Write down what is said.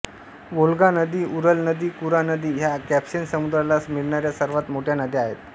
वोल्गा नदी उरल नदी व कुरा नदी ह्या कॅस्पियन समुद्राला मिळणाऱ्या सर्वात मोठ्या नद्या आहेत